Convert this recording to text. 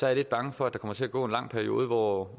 jeg lidt bange for at der kommer til at gå en lang periode hvor